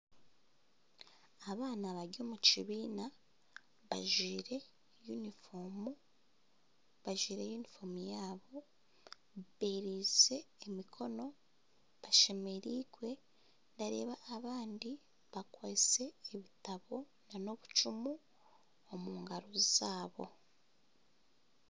Abaana bari omu kibiina bajwire yunifoomu, bajwire yunifoomu yaabo beeriize emikono bashemereirwe, nindeeba abandi bakwitse obutabo n'obucumu omu ngaaro zaabo